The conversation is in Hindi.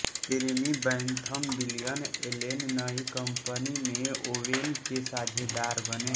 जेरेमी बैंथम विलियम एलेन नई कंपनी में ओवेन के साझेदार बने